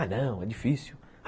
Ah, não, é difícil.